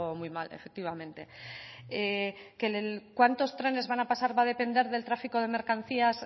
muy mal efectivamente cuántos trenes van a pasar va a depender del tráfico de mercancías